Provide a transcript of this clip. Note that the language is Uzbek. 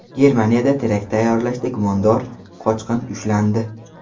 Germaniyada terakt tayyorlashda gumondor qochqin ushlandi.